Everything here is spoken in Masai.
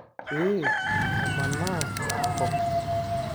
Pee amanaa enkop.